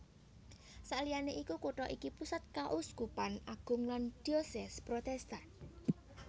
Saliyané iku kutha iki pusat Kauskupan Agung lan Diocese Protestan